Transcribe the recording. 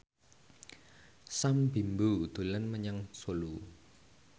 Sam Bimbo dolan menyang Solo